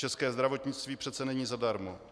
České zdravotnictví přece není zadarmo.